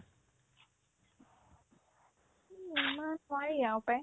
এমাহ পাৰি আৰু পে